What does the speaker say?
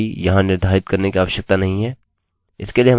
अतः date के लिए लंबाई यहाँ निर्धारित करने की आवश्यकता नहीं है